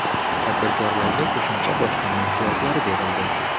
Tadbirkorlarga qo‘shimcha bojxona imtiyozlari berildi.